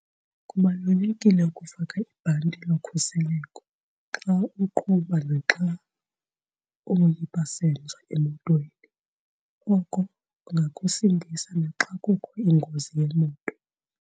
Kubalulekile ukufaka ibhanti lokhuseleko xa uqhuba naxa uyi-passenger emotweni. Oko kungakusindisa naxa kukho ingozi yemoto.